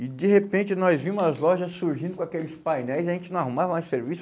E, de repente, nós vimos as lojas surgindo com aqueles painéis e a gente não arrumava mais serviço.